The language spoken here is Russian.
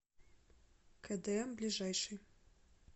кдм ближайший